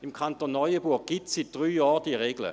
Im Kanton Neuenburg gibt es die Regel seit drei Jahren: